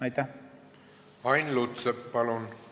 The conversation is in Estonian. Ain Lutsepp, palun!